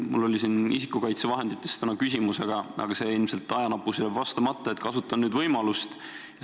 Mul oli täna esitatud küsimus isikukaitsevahendite kohta, aga see jääb ilmselt ajanappusel vastamata, sellepärast kasutan võimalust ja küsin nüüd.